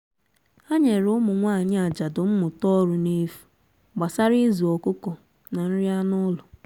ha nyere ụmụnwaanyi ajadu mmụta ọrụ n'efu gbasara ịzụ ọkụkọ na nri ánụ́ ụlọ